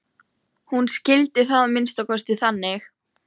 Hún skildi það að minnsta kosti þannig.